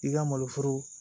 I ka malo foro